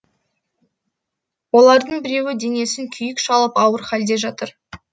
олардың біреуі денесін күйік шалып ауыр халде жатыр